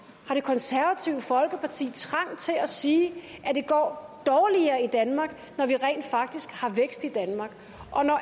har det konservative folkeparti trang til at sige at det går dårligere i danmark når vi rent faktisk har vækst i danmark og når